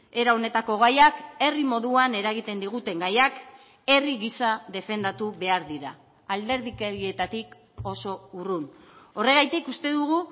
era honetako gaiak herri moduan eragiten diguten gaiak herri gisa defendatu behar dira alderdikerietatik oso urrun horregatik uste dugu